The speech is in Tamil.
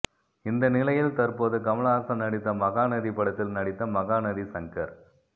இந்த நிலையில் தற்போது கமலஹாசன் நடித்த மகாநதி படத்தில் நடித்த மகாநதி சங்கர்